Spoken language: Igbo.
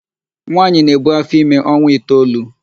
Nwaanyị na-ebu áfọ́ime ọnwa itoolu.